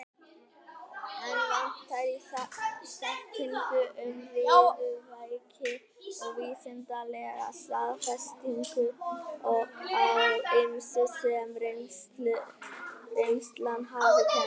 Enn vantar á þekkingu um riðuveiki og vísindalega staðfestingu á ýmsu, sem reynslan hefur kennt.